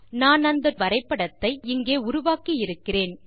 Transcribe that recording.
நான் அந்த டியூட்டோரியல் ஐ இங்கே உருவாக்கி இருக்கிறேன்